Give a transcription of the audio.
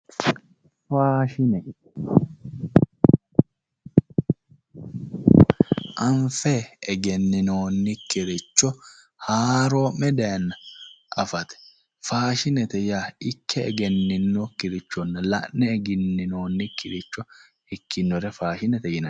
Anfe egenninoonnikkiricho haaroo'me daayyeenna afate. faashinete yaa ikke egenninokirichonna la'noonnikkiricho faashinete yinanni.